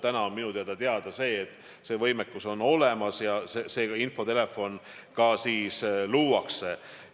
Täna on minu teada see võimekus olemas ja see infotelefon ka tööle hakkab.